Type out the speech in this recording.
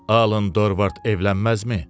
Alın Dorvard evlənməzmi?